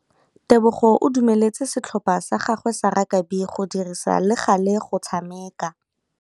Tebogô o dumeletse setlhopha sa gagwe sa rakabi go dirisa le galê go tshameka.